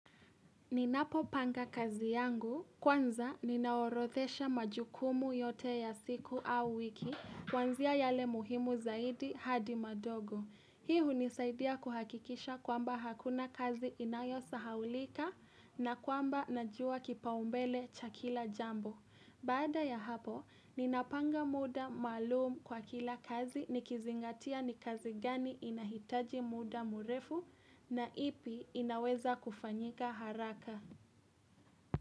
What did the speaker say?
Ninapo panga kazi yangu, kwanza ninaorodhesha majukumu yote ya siku au wiki, kuanzia yale muhimu zaidi hadi madogo. Hii hunisaidia kuhakikisha kwamba hakuna kazi inayo sahaulika na kwamba najua kipaombele cha kila jambo. Baada ya hapo, ninapanga muda maalumu kwa kila kazi ni kizingatia ni kazi gani inahitaji muda murefu na ipi inaweza kufanyika haraka.